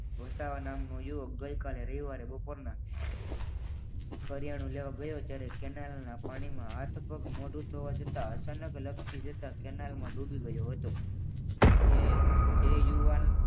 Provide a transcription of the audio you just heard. વસાવા નામ યુવક ગઈકાલે રવિવારે બપોરના કરિયાણું લેવા ગયો ત્યારે કેનાલના પાણીમાં હાથ પગ મોડું ધોવા જતા અચાનક લપસી જતા કેનાલમાં ડૂબી ગયો હતો. કે તે યુવાન